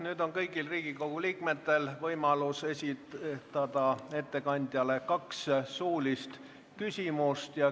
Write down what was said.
Nüüd on kõigil Riigikogu liikmetel võimalus esitada ettekandjale kaks suulist küsimust.